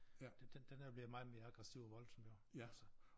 Den den den er blevet meget mere aggressiv og voldsom jo altså